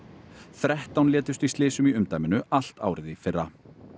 þrettán létust í slysum í umdæminu allt árið í fyrra